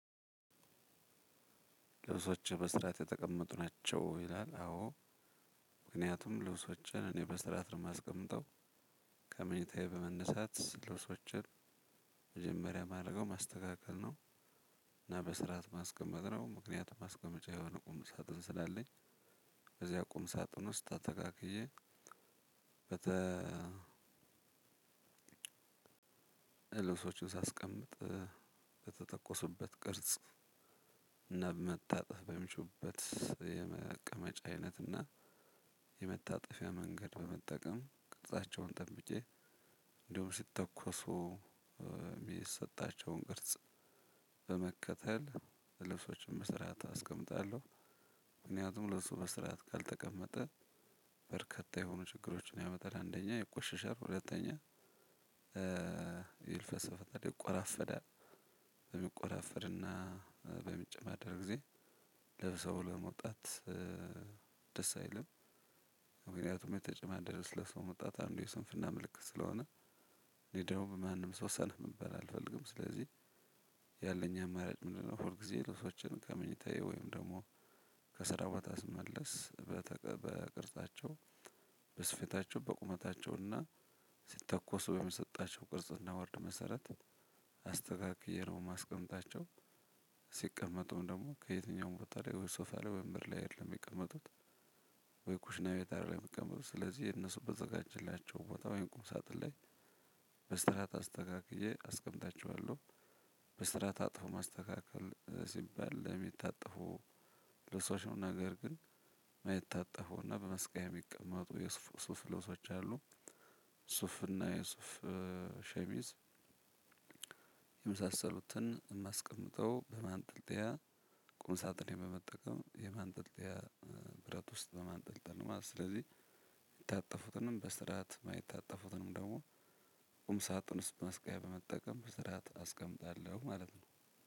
ልብሶች በስርዓት የተቀመጡ ናቸው ይላል። አዎ ምክንያቱም ልብሶቼን እኔ በስርዓት ነው የማስቀምጠው። ከመኝታዬ በመነሳት ልብሶቼን መጀመሪያ ማድረገው ማስተካከል ነው። እና በስርዓት ማስቀመጥ ነው ምክንያቱም ማስቀመጫ የሆነ ቁም ሳጥን ስላለኝ። እዚያ ቁም ሳጥን ውስጥ አስተካክዬ ልብሶችን ሳስቀምጥ በተተኮሱበት ቅርጽ በመታጠፍ በሚችሉበት የመቀመጫ አይነት እና የመታጠፊያ መንገድ በመጠቀም ቅርፃቸውን ጠብቄ እንደሁም ሲተኮሱ የሚሰጣቸውን ቅርጽ በመከተል ልብሶችን በስርዓት አስቀምጣለሁ። ምክንያቱም ልብሱ በስርዓት ካልተቀመጠ በርከታ የሆኑ ችግሮች ያመጣል። አንደኛ ይቆሽሻል ሁለተኛ ይልፍ ይቆራፈዳል። በሚቆራፍድና በሚጨማደድ ጊዜ ለብሰው ለመውጣት ደስ አይልም። ምክንያቱም የተጨማደደ ልብስ ለብሶ መውጣት አንዱ የስንፍና ምልክት ስለሆነ። እኔ ደሞ በማንም ሰው ሰንፍ መባል አልፈልግም። ስለዚህ ያለኝ አማራጭ ምንድነው? ሁል ጊዜ ልብሶቼን ከምኝታዬ ወይም ደግሞ ከስራ ቦታ ስመለስ በቅርጻቸው በስፌታቸው በቁመታቸው እና ሲተኮሱ በመሰጣቸው ቅርጽና ወርድ መሰረት አስተካክዬ ነው የማስቀምጣቸው። ሲቀመጡም ደግሞ ከየትኛውም ቦታ ላይ ሶፋ ለወንበር ላይ አይደለም የሚቀመጡት። ወይ ኩሽና ቤት አይደለም የሚቀመጡት ስለዚህ የነሱ በተዘጋጀላቸው ቦታ ወይም ቁም ሳጥን ላይ በስርዓት አስተካክዬ አስቀምጣችኋለሁ። በስርዓት አጥፎ ማስተካከል ሲባል ለሚታጠፉ ልብሶች ነው ነገር ግን የማይታጠፈውና በመስቀያ የሚቀመጡ የሱፍ ልብሶች አሉ። ሱፍና የሱፍ ሸሚዝ የመሳሰሉትን የማስቀምጠው በማንጠልጠያ ቁም ሳጥን በመጠቀም የማንጠልጠያ ብረት ውስጥ በማንጠልጠል ነው ማለት ነው። ስለዚህ በስርዓት የማይታጠፉትንም ደግሞ ቁም ሳጥን ውስጥ ማስቀያ በመጠቀም በስርዓት አስቀምጣለሁ። ማለት ነው።